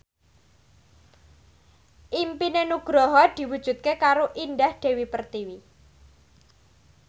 impine Nugroho diwujudke karo Indah Dewi Pertiwi